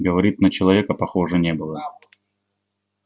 говорит на человека похоже не было